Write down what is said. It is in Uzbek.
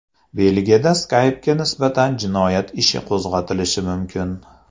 Belgiyada Skype’ga nisbatan jinoyat ishi qo‘zg‘atilishi mumkin.